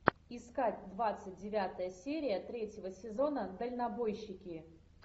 искать двадцать девятая серия третьего сезона дальнобойщики